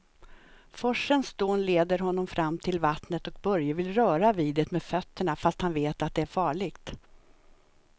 Forsens dån leder honom fram till vattnet och Börje vill röra vid det med fötterna, fast han vet att det är farligt.